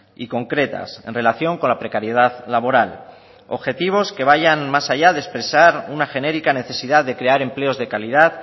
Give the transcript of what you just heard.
y concretas en relación con la precariedad laboral objetivos que vayan más allá de expresar una genérica necesidad de crear empleos de calidad